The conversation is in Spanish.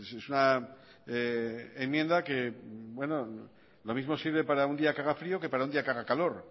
es una enmienda que lo mismo sirve para un día que haga frío que para un día que haga calor